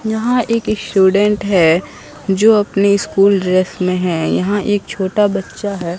यहां एक स्टूडेंट है जो अपनी स्कूल ड्रेस में है यहां एक छोटा बच्चा है।